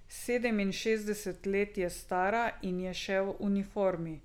Sedeminšestdeset let je stara in je še v uniformi.